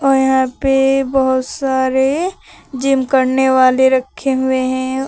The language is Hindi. और यहां पे बहुत सारे जिम करने वाले रखे हुए हैं।